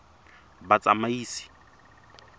batsamaisi